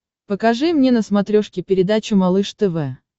покажи мне на смотрешке передачу малыш тв